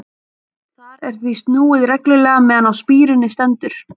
Þar er því snúið reglulega meðan á spíruninni stendur.